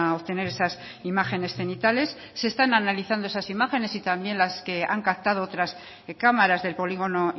obtener esas imágenes cenitales se están analizando esas imágenes y también las que han captado otras cámaras del polígono